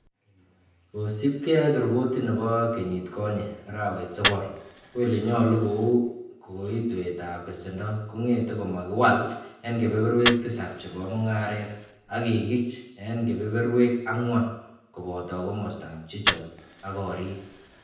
Kosiibge ak ripot nebo kenyit konye arawetab sogol, ko ele nyolu kou kokoitoetab besendo kongetu komakiwal en kebeberwek Tisap chebo mungaret, ak kikich en kebeberwek angwan, koboto komostab chichok ak gorik.